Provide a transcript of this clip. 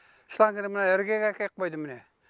шлангіні мына іргеге әкеп қойды міне